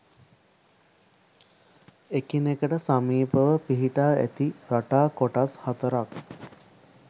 එකිනෙකට සමීපව පිහිටා ඇති රටා කොටස් හතරක්